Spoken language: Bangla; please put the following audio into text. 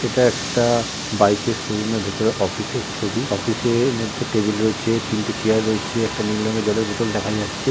এটা একটা বাইকের শো রুমে ভেতরে অফিসের ছবি অফিসের মধ্যে টেবিল রয়েছে তিনটি চেয়ার রয়েছে একটা নীল রঙের জলের বোতল দেখা যাচ্ছে।